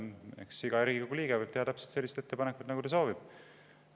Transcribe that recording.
Eks iga Riigikogu liige võib teha täpselt sellise ettepaneku, nagu ta soovib.